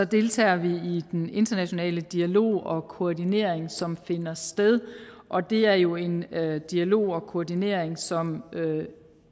deltager vi i den internationale dialog og koordinering som finder sted og det er jo en dialog og koordinering som